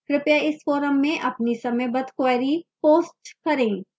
कृपया इस forum में अपनी समयबद्ध queries post करें